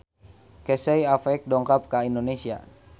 Casey Affleck dongkap ka Indonesia